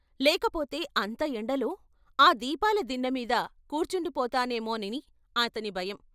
లేకపోతే అంత ఎండలో ఆ దీపాల దిన్నెమీద కూర్చుండిపోతానేమోనని అతని భయం....